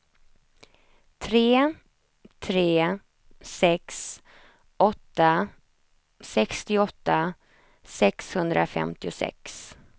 tre tre sex åtta sextioåtta sexhundrafemtiosex